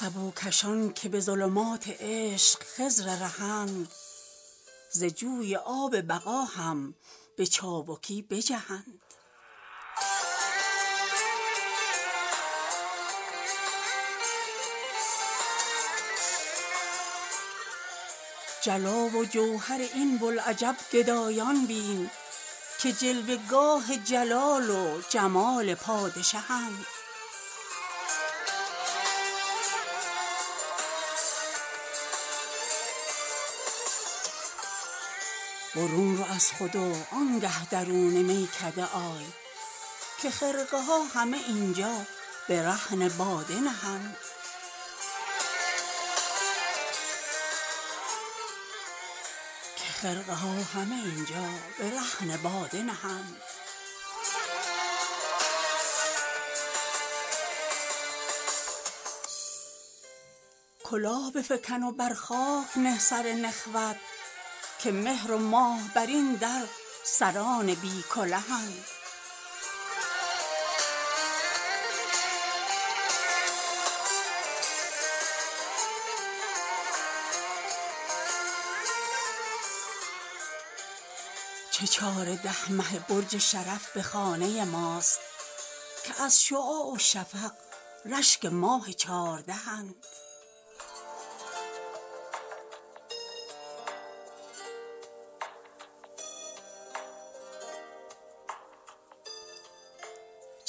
سبوکشان که به ظلمات عشق خضر رهند ز جوی آب بقا هم به چابکی بجهند نگین جم که به جامیش می خرند این قوم به رغم جوهریانش به جرعه ای بدهند جلا و جوهر این بوالعجب گدایان بین که جلوه گاه جلال و جمال پادشهند برون رو از خود و آنگه درون میکده آی که خرقه ها همه اینجا به رهن باده نهند کلاه بفکن و بر خاک نه سر نخوت که مهر و ماه بر این در سران بی کلهند چه چاره ده مه برج شرف به خانه ماست که از شعاع و شفق رشگ ماه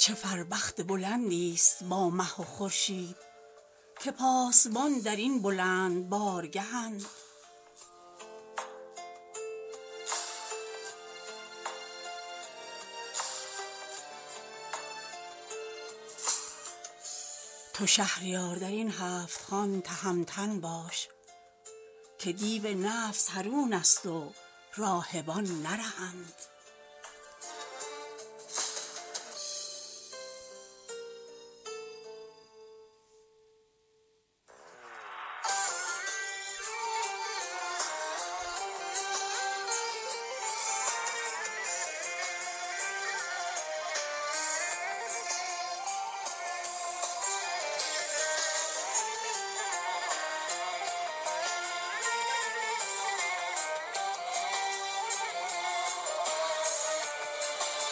چاردهند تو آب و گل به چه و چاله دیده ای هشدار ز جان و دل همه طرف کله به مهر و مهند به راه میکده هش دار و پا به حرمت نه چرا که پادشهانش عجین خاک رهند چه فر بخت بلندی است با مه و خورشید که پاسبان در این بلند بارگهند خدای را که به صد قایق نجات هنوز بسا کسا که چو من غرق لجه گنهند برای کینه در این تنگ سینه جایی نیست صفای دیده و دل صادقانه خود گوهند تو شهریار در این هفتخوان تهمتن باش که دیو نفس حرون است و راهبان نرهند